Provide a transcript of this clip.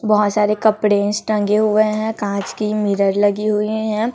बहोत सारे कपड़ेज टंगे हुए है कांच की मिरर लगी हुए है।